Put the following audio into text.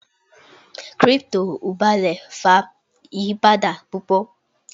cripto oble fa iyipada pupo